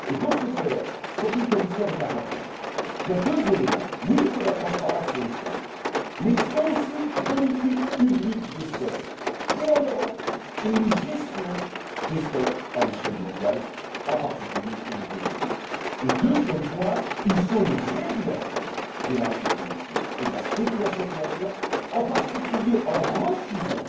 Pour ce faire ce qu'a dit le commissaire est important il y a deux éléments oui, il faut de la transparence sur les stocks, mais il faut aussi une politique publique de stocks en Europe et une gestion des stocks à l'échelle mondiale, en particulier au niveau de l'ONU. Deuxième point, il faut réguler les marchés financiers et la spéculation financière, en particulier en refusant